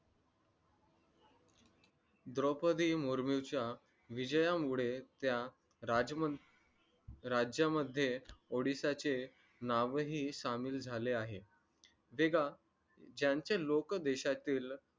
द्रौपदी मुर्मू च्या विजयामुळे त्या राज्यामध्ये odisha चे नावही सामील झाले आहे ज्यांचे लोक देशातील